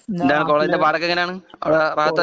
എന്താ കോളേജ് ന്റെ പാട് ഒക്കെ എങ്ങനെ ആണ് അവിടെ റാഹത്ത് അല്ലേ